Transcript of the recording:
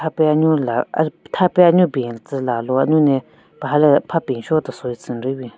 Pe anyu la tha pe anyu ben tsü lalu anyu ne paha le apha penshu-o tesoi tsü n-nri bin.